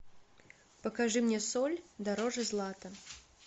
покажи мне соль дороже злата